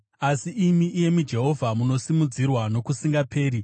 Asi imi, iyemi Jehovha, munosimudzirwa nokusingaperi.